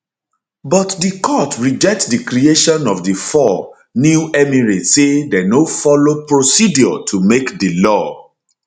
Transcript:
but di court reject di creation of di four di four new emirates say dem no follow procedure to make di law